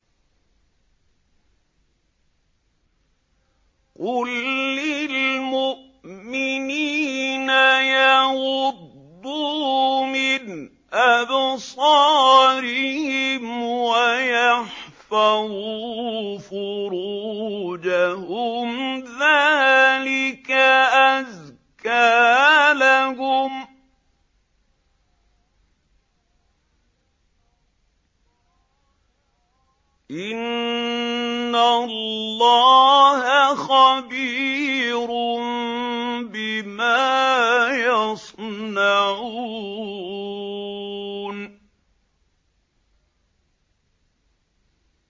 قُل لِّلْمُؤْمِنِينَ يَغُضُّوا مِنْ أَبْصَارِهِمْ وَيَحْفَظُوا فُرُوجَهُمْ ۚ ذَٰلِكَ أَزْكَىٰ لَهُمْ ۗ إِنَّ اللَّهَ خَبِيرٌ بِمَا يَصْنَعُونَ